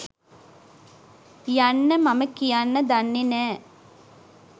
යන්න මම කියන්න දන්නෙ නෑ